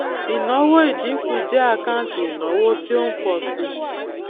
ìnáwó ìdínkù jẹ àkáǹtì ìnáwó tí ó ń pọ síi